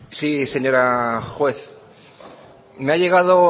sí señora juez me ha llegado